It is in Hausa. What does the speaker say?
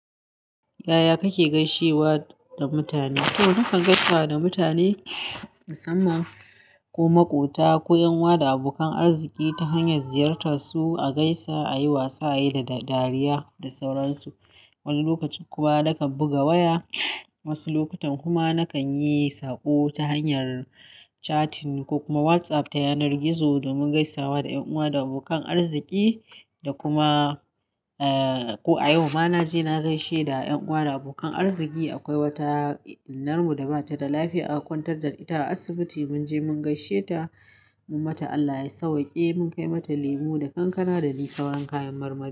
Yaya kake gaishewa da mutane? To, nakan gaisa da mutane, musamman ko ma ƙota, ku'yan uwa da abokan arziki ta hanyar ziyartarsu, a gaisa, a yi wasa, a yi dariya da sauransu. Wani lokacin kuma nakan buga waya. Wasu lokutan kuma nakan yi sako ta hanyar chatting ko kuma WhatsApp ta yanar gizo domin gaisawa da ƴan uwa da abokan arziki. Da kuma, ko a yau ma na je na gaishe da ƴan uwa da abokan arziki. Akwai wata innar mu da ba ta da lafiya, aka kwantar da ita a asibiti. Mun je mun gaisheta, mun mata Allah ya sauwaƙe, mun kai mata lemu da kankana da dai sauran kayan marmari.